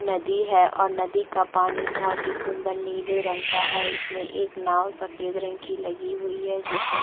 नदी है और नदी का पानी बहोत ही सुन्दर नीले रंग का है इस में एक नांव सफ़ेद रंग की लगी हुए है जिस में--